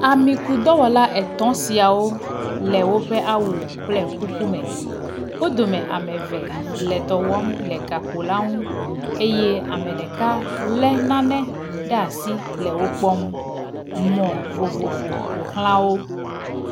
Amikudɔwɔla etɔ̃ siawo le woƒe awu kple kuku me. Wo dome ame eve le dɔ wɔm le gakpo la ŋu eye ame ɖeka lé nane ɖe asi le wo kpɔm. Mɔ vovovo ƒo xlã wo.